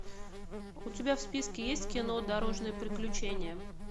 у тебя в списке есть кино дорожные приключения